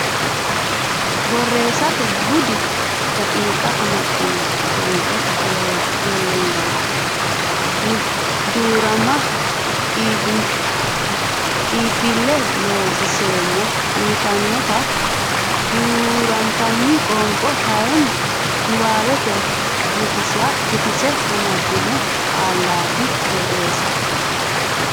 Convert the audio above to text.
Borreessate Bude daqiiqa amaddino Qoonqote Lollonganna Duu rama iibbille Loonseemmo uytannota duu rantino qoonqo kayinni niwaawete guutisse amaddino qaallaati Borreessate.